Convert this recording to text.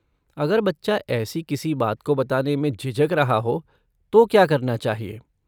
अगर बच्चा ऐसी किसी बात को बताने में झिझक रहा हो तो क्या करना चाहिए?